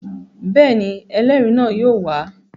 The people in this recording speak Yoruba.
Bẹ́ẹ̀ ni, ẹlẹ́rìí náà yóò wà á.